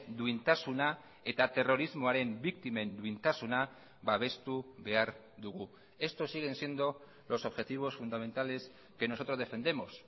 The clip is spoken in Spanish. duintasuna eta terrorismoaren biktimen duintasuna babestu behar dugu estos siguen siendo los objetivos fundamentales que nosotros defendemos